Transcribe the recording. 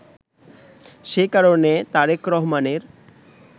সে কারণে তারেক রহমানের